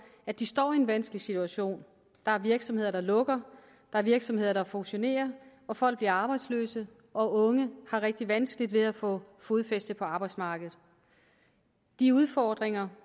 at de står i en vanskelig situation der er virksomheder der lukker der er virksomheder der fusionerer og folk bliver arbejdsløse og unge har rigtig vanskeligt ved at få fodfæste på arbejdsmarkedet de udfordringer